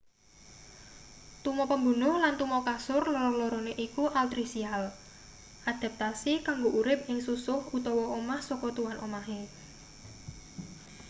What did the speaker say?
tuma pembunuh lan tuma kasur loro-lorone iku altricial adaptasi kanggo urip ing susuh utawa omah saka tuan omahe